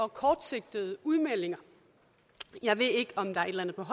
og kortsigtede udmeldinger jeg ved ikke om der